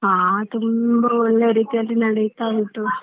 ಹಾ ತುಂಬ ಒಳ್ಳೆ ರೀತಿಯಲ್ಲಿ ನಡಿತಾ ಉಂಟು.